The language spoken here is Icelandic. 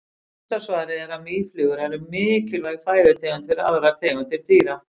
Stutta svarið er að mýflugur eru mikilvæg fæðutegund fyrir aðrar tegundir dýra.